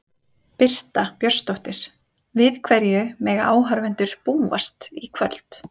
Birta Björnsdóttir: Við hverju mega áhorfendur búast í kvöld?